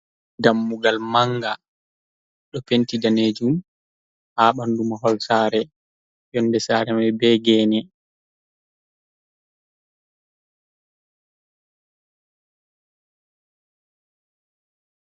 Dammugal manga ɗo penti daneejum, haa ɓanɗu mahol saare, yonde saare mai be geene.